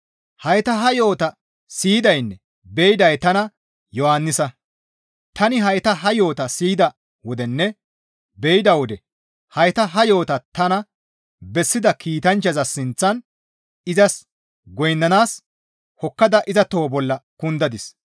Hayta ha yo7ota siyidaynne be7iday tana Yohannisa; tani hayta ha yo7ota siyida wodenne be7ida wode hayta ha yo7ota tana bessida kiitanchchaza sinththan izas goynnanaas hokkada iza toho bolla kundadis.